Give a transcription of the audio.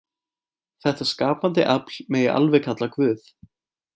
Þetta skapandi afl megi alveg kalla Guð.